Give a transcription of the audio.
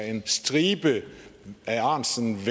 en stribe af ahrendtsens